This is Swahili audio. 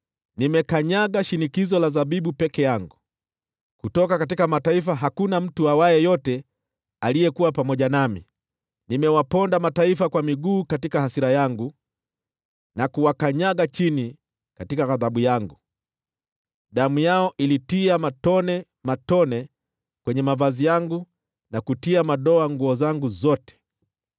“Nimekanyaga shinikizo la zabibu peke yangu; kutoka mataifa hakuna mtu aliyekuwa pamoja nami. Nimewaponda kwa miguu katika hasira yangu na kuwakanyaga chini katika ghadhabu yangu; damu yao ilitia matone kwenye mavazi yangu, na kutia madoa nguo zangu zote.